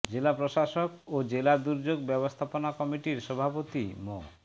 জেলা প্রশাসক ও জেলা দুর্যোগ ব্যবস্থাপনা কমিটির সভাপতি মো